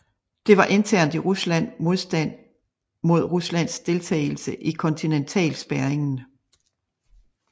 Der var internt i Rusland modstand mod Ruslands deltagelse i kontinentalspærringen